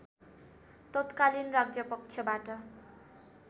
तत्कालीन राज्यपक्षबाट